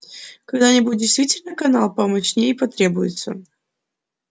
когда-нибудь действительно канал помощнее потребуется